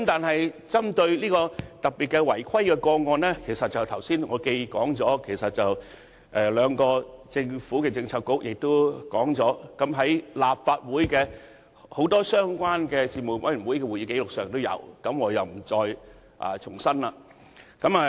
不過，針對特定的違規個案，正如我剛才提到，兩個政策局已提及此事，而立法會相關事務委員會的多份會議紀錄也有記錄，所以我不在此重申。